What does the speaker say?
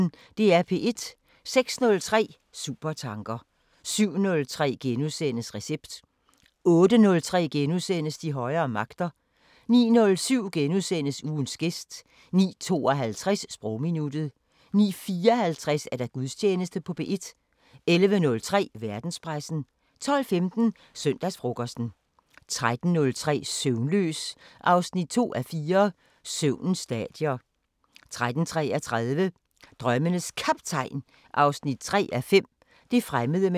06:03: Supertanker 07:03: Recept * 08:03: De højere magter * 09:07: Ugens gæst * 09:52: Sprogminuttet 09:54: Gudstjeneste på P1 11:03: Verdenspressen 12:15: Søndagsfrokosten 13:03: Søvnløs 2:4 – Søvnens stadier 13:33: Drømmenes Kaptajn 3:5 – Det fremmede med nye øjne